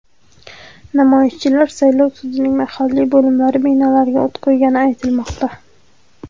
Namoyishchilar saylov sudining mahalliy bo‘limlari binolariga o‘t qo‘ygani aytilmoqda.